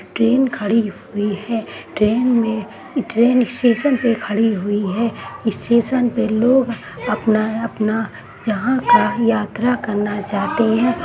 Train खड़ी हुई है ट्रेन में ई ट्रेन स्टेशन पे खड़ी हुई है स्टेशन पे लोग अपना-अपना जहाँ का यात्रा करना चाहते हैं।